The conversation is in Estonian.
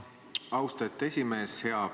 Austatud esimees!